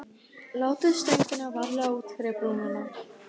Látið stöngina varlega út fyrir brúnina.